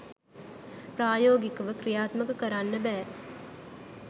ප්‍රායෝගිකව ක්‍රියාත්මක කරන්න බෑ